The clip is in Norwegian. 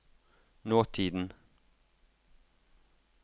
nåtiden